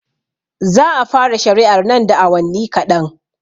Za a fara shari'ar nan da awanni kaɗan